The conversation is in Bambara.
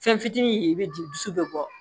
Fɛn fitinin ye i bɛ di dusu bɛ bɔ